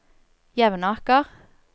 Jevnaker